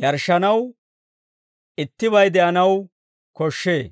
yarshshanaw ittibay de'anaw koshshee.